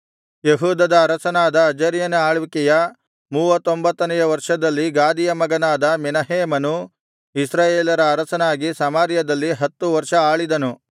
ಯೆಹೂದದ ಅರಸನಾದ ಅಜರ್ಯನ ಆಳ್ವಿಕೆಯ ಮೂವತ್ತೊಂಬತ್ತನೆಯ ವರ್ಷದಲ್ಲಿ ಗಾದಿಯ ಮಗನಾದ ಮೆನಹೇಮನು ಇಸ್ರಾಯೇಲರ ಅರಸನಾಗಿ ಸಮಾರ್ಯದಲ್ಲಿ ಹತ್ತು ವರ್ಷ ಆಳಿದನು